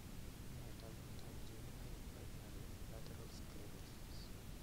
Nee taakunetaab Juvenile primary lateral sclerosis?